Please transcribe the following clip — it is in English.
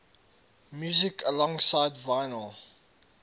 music alongside vinyl